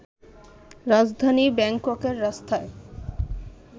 রাজধানী ব্যাংককের রাস্তায়